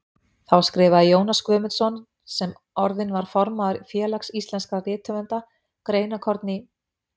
Þá skrifaði Jónas Guðmundsson, sem orðinn var formaður Félags íslenskra rithöfunda, greinarkorn í